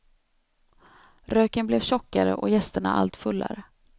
Röken blev tjockare och gästerna allt fullare.